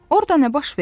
Orada nə baş verir?